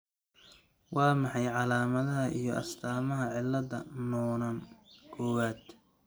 Waa maxay calaamadaha iyo astaamaha cilada Noonan kowwad?